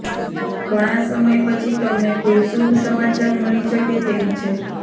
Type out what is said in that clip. ઘણા સમય પછી તમને કોઈ શુભ સમાચાર મળી શકે તેમ છે